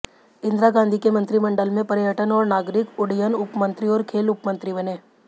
इंदिरा गांधी के मंत्रीमण्डल में पर्यटन और नागरिक उड्डयन उपमंत्री और खेल उपमंत्री बने